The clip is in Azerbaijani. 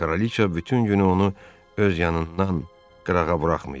Kraliça bütün günü onu öz yanından qırağa buraxmayıb.